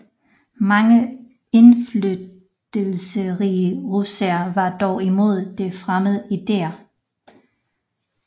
Mange indflydelsesrige russere var dog imod de fremmede idéer